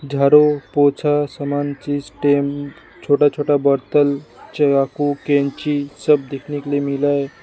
झाड़ू पोछा सामान चीज टाइम छोटा छोटा बोतल चाकू कैंची सब देखने के लिए मिला है।